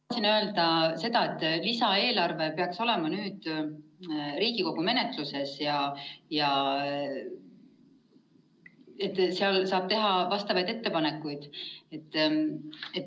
Tahtsin öelda seda, et lisaeelarve peaks olema Riigikogu menetluses ja seal saab teha vastavaid ettepanekuid.